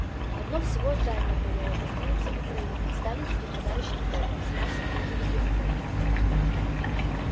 одно всего здание горело гостиница украина сталинский подарочный торт с мясом и железобетоном